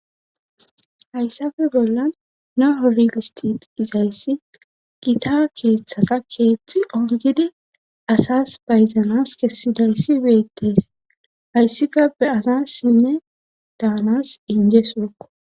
hayssafe bolla naho rilistit izayssi gita keeththata keeththi ongidi asas bayzanas kessidayssi beettes hayssika beyana sinne daanas inje sorkko